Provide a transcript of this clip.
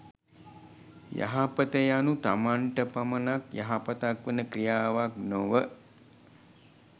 යහපත යනු තමන්ට පමණක් යහපතක් වන ක්‍රියාවක් නොව